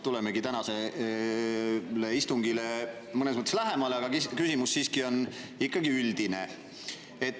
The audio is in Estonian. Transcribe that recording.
Tuleme tänasele istungile mõnes mõttes lähemale, aga küsimus on ikkagi üldine.